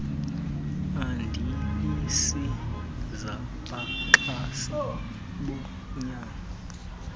adilesi zabaxhasi bonyango